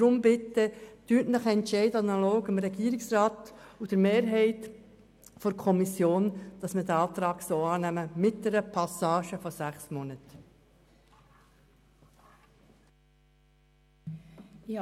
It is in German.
Entscheiden Sie daher bitte analog dem Regierungsrat und der GSoKMehrheit, diesen Antrag mit einer Passage von sechs Monaten anzunehmen.